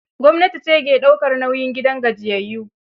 Gwamnati ce ke daukar nauyin gidan gajiyayyu